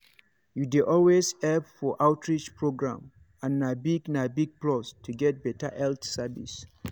you dey always help for outreach program and na big na big plus to get better health service.